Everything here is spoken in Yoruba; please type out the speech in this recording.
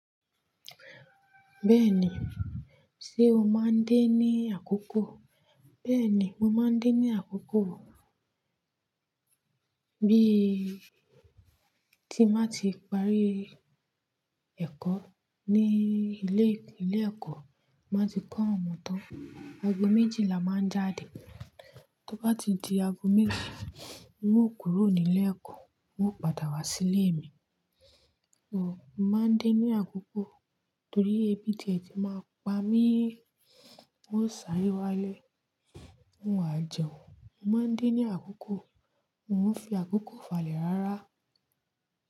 Bẹ́ẹ̀ni, ṣe o máa ń de ní àkókò? Bẹ́ẹ̀ni, mo máa ń din ní àkókò. Bí i tí máa ti parí ẹ̀kọ́ ní ilé, ilé ẹ̀kọ́, máa ti kán ọmọ tán. Ago méjì la máa ń jáde. Tó bá ti di ago méjì, hun ó kúrò ní ilé ẹ̀kọ́, hun ó padà wá sí ilé mi. O, mo máa ń din ní àkókò torí ebí tiẹ ti máa ń pa mí. Hun ó sáré wálé, hun wà jẹun. Mo máa ń de ní àkókò, mo ń fi àkókò falẹ̀ rárá.